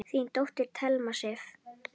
Þín dóttir, Thelma Sif.